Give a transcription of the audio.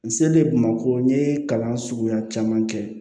N selen bamakɔ n ye kalan suguya caman kɛ